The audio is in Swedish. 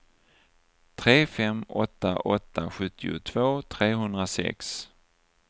tre fem åtta åtta sjuttiotvå trehundrasex